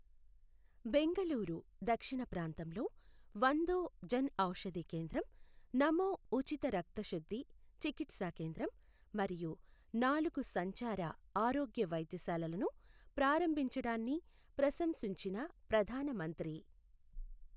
బెంగళూరు దక్షిణ ప్రాంతంలో వందో జన్ఔషధి కేంద్రం, నమో ఉచిత రక్తశుద్ధి చికిత్స కేంద్రం మరియు నాలుగు సంచార ఆరోగ్య వైద్యశాలలను ప్రారంభించడాన్ని ప్రశంసించిన ప్రధాన మంత్రి